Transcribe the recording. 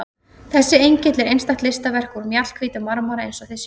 Þessi engill er einstakt listaverk úr mjallhvítum marmara eins og þið sjáið.